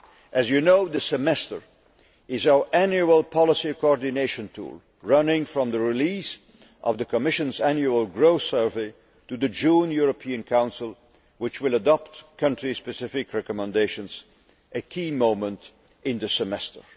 As you know, the Semester is our annual policy coordination tool, running from the release of the Commission's annual growth survey to the June European Council, which will adopt country specific recommendations, a key moment in the Semester.